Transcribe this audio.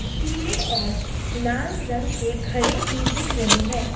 पीले और लाल रंग की घड़े भी दिख रहे हैं।